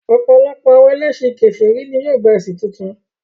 Ọ̀pọ̀lọpọ̀ àwọn ẹlẹ́sìn kèfèrí ní yóò gba ẹ̀sìn tuntun